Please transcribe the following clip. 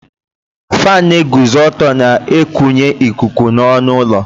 Fáan na-eguzo ọtọ na-ekunye ikuku n'ọnụ ụlọ